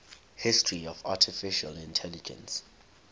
history of artificial intelligence